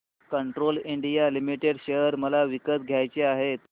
Castrol India limited share मला विकत घ्यायचे आहेत